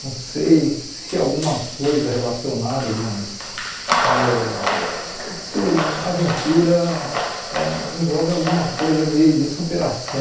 Não sei se alguma coisa relacionada, mas ãh isso, aventura, ãh envolve alguma coisa de de superação.